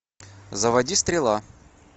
заводи стрела